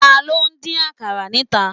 Taló n dín àkàrà níta?